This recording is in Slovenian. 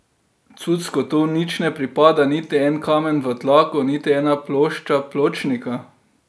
Cucku tu nič ne pripada, niti en kamen v tlaku, niti ena plošča pločnika.